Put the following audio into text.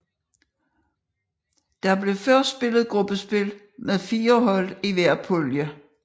Der blev først spillet gruppespil med 4 hold i hver pulje